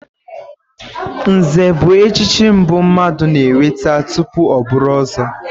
Nze bụ echichi mbụ mmadụ na-enweta tupu ọ bụrụ ọ̀zọ́.